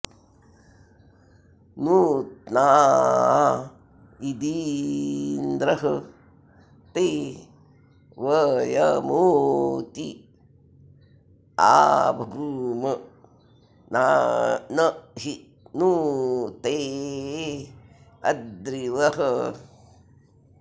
नूत्ना॒ इदि॑न्द्र ते व॒यमू॒ती अ॑भूम न॒हि नू ते॑ अद्रिवः